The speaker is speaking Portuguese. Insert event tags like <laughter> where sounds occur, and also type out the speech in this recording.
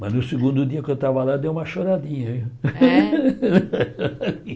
Mas no segundo dia que eu estava lá, dei uma choradinha viu É. <laughs>